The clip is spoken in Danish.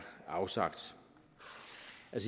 afsagt